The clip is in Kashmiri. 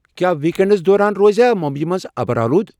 کیا ویک اینڈس دوران روزیاہ ممبئیِہ منز ابرٕ آلود ؟